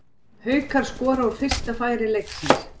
Haukar skora úr fyrsta færi leiksins.